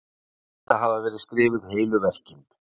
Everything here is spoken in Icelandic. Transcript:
um þetta hafa verið skrifuð heilu verkin